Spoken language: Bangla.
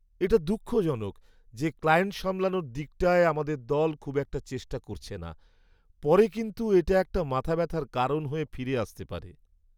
এটা দুঃখজনক যে ক্লায়েন্ট সামলানোর দিকটায় আমাদের দল খুব একটা চেষ্টা করছে না, পরে কিন্তু এটা একটা মাথা ব্যাথার কারণ হয়ে ফিরে আসতে পারে।